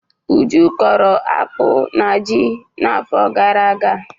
Uju kọrọ akpụ na ji n'afọ gara aga.